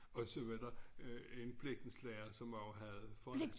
Og så var der en blikkenslager som også havde fået